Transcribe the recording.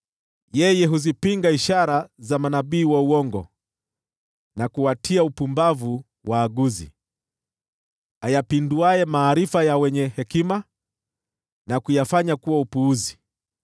“mimi huzipinga ishara za manabii wa uongo, na kuwatia upumbavu waaguzi, niyapinduaye maarifa ya wenye hekima, na kuyafanya kuwa upuzi,